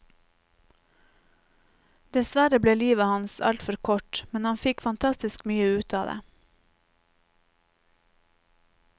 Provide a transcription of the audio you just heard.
Dessverre ble livet hans altfor kort, men han fikk fantastisk mye ut av det.